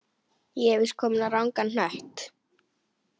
ég er víst kominn á rangan hnött!